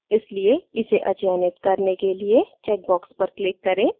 इसलिए इसे अचयनित करने के लिए चेकबॉक्स पर click करें